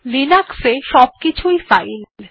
Linux এ সবকিছুই একটি ফাইল